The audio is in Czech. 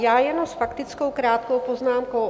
Já jenom s faktickou krátkou poznámkou.